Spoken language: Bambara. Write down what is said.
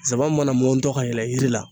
nsaban mana mɔntɔ ka yɛlɛ yiri la